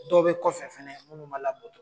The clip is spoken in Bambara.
Dɔw bɛ kɔfɛ fɛnɛ munnu'a labato.